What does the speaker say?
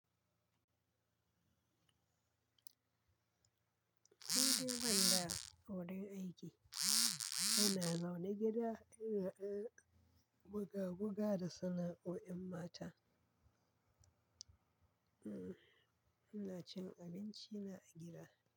Kudin zama a wajen aiki yana ma wani gida, guga-guga da sana'o'in mata. Mmm, ana cin abinci na gida.